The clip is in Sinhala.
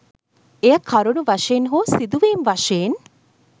එය කරුණු වශයෙන් හෝ සිදුවීම් වශයෙන්